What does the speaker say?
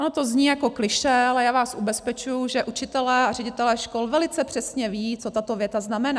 Ono to zní jako klišé, ale já vás ubezpečuji, že učitelé a ředitelé škol velice přesně vědí, co tato věta znamená.